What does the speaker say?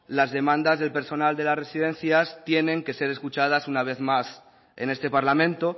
las demandas del personal de las residencias tienen que ser escuchadas una vez más en este parlamento